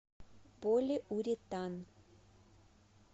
полиуретан